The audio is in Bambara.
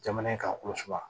Jamana in kan kulu siwa